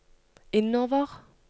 innover